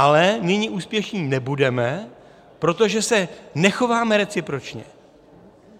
Ale nyní úspěšní nebudeme, protože se nechováme recipročně.